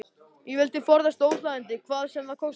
Ég vildi forðast óþægindi hvað sem það kostaði.